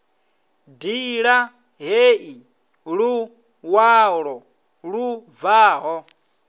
ṋdila heyi luṅwalo lu bvaho